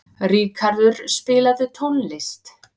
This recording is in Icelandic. Ríkarður, spilaðu tónlist.